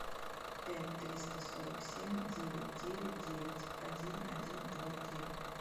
пять триста сорок семь девять девять девять один один два три